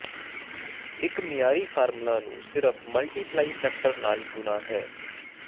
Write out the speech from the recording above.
ਇੱਕ ਮਿਆਰੀ ਫਾਰਮੂਲਾ ਨੂੰ ਸਿਰਫ਼ ਮਲਟੀਪਲਾਈ ਫੈਕਟਰ ਨਾਲ ਗੁਣਾ ਹੈ